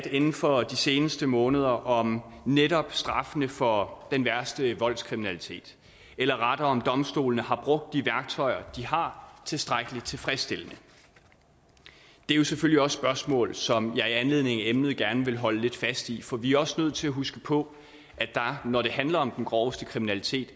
inden for de seneste måneder om netop straffene for den værste voldskriminalitet eller rettere om domstolene har brugt de værktøjer de har tilstrækkelig tilfredsstillende det er selvfølgelig også spørgsmål som jeg i anledning af emnet gerne vil holde lidt fast i for vi er også nødt til at huske på at når det handler om den groveste kriminalitet